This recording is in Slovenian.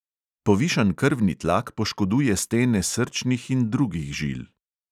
Povišan krvni tlak poškoduje stene srčnih in drugih žil.